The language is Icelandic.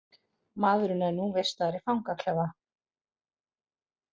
Maðurinn er nú vistaður í fangaklefa